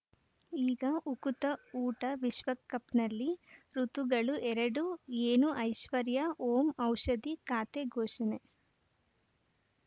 ಈಗ ಉಕುತ ಊಟ ವಿಶ್ವಕಪ್‌ನಲ್ಲಿ ಋತುಗಳು ಎರಡು ಏನು ಐಶ್ವರ್ಯಾ ಓಂ ಔಷಧಿ ಖಾತೆ ಘೋಷಣೆ